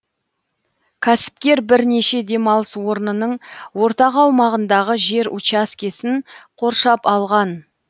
кәсіпкер бірнеше демалыс орнының ортақ аумағындағы жер учаскесін қоршап алған